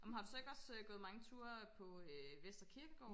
amen har du så ikke også øh gået mange ture på øh Vestre Kirkegård